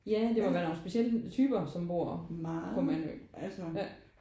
Ja det må være nogen specielle typer der bor på Mandø ja